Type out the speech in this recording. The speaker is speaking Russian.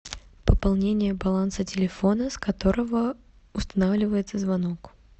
пополнение баланса телефона с которого устанавливается звонок